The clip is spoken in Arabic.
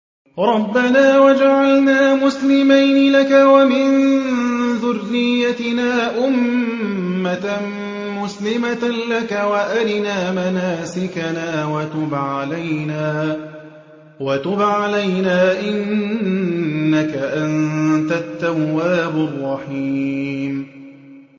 رَبَّنَا وَاجْعَلْنَا مُسْلِمَيْنِ لَكَ وَمِن ذُرِّيَّتِنَا أُمَّةً مُّسْلِمَةً لَّكَ وَأَرِنَا مَنَاسِكَنَا وَتُبْ عَلَيْنَا ۖ إِنَّكَ أَنتَ التَّوَّابُ الرَّحِيمُ